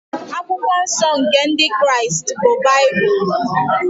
Akwụkwọ nsọ nke Ndị Kraịst bụ Baịbụl.